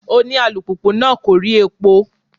Òní alùpùpù náà kò rí epo.